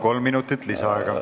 Kolm minutit lisaaega.